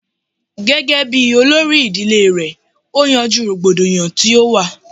Gẹ́gẹ́ bíi olórí ìdílé rẹ̀ ó yanjú rògbòdìyàn tó wà